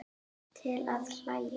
Til að hlæja.